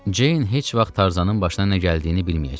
Ceyn heç vaxt Tarzanın başına nə gəldiyini bilməyəcək.